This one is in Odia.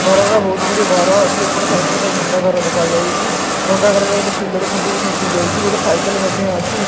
ଘର ର ବହୁତ ଗୁଡିଏ ଘର ଅଛି ଏପଟ ସାଇଟ୍ ରେ ଗୋଟେ ଭାଙ୍ଗ ଘର ଦେଖା ଯାଉଚି ଭାଙ୍ଗ ଘର ରେ ଗୋଟେ ପିଲର ଖୁଣ୍ଟି ବି ଖସି ଯାଇଚି ଗୋଟେ ସାଇକେଲ ମଧ୍ୟ ଅଛି।